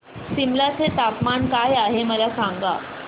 सिमला चे तापमान काय आहे मला सांगा